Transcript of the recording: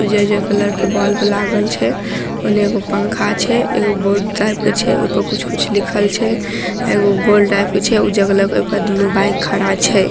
जे कलर के बल्ब लागल छै उने एगो पंखा छै एगो बोर्ड टाइप के छै ओय पर कुछो कूछो लिखल छै एगो बाइक खड़ा छै।